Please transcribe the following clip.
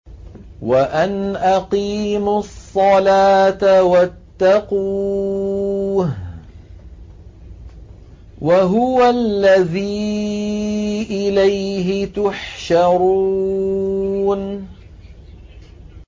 وَأَنْ أَقِيمُوا الصَّلَاةَ وَاتَّقُوهُ ۚ وَهُوَ الَّذِي إِلَيْهِ تُحْشَرُونَ